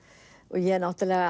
ég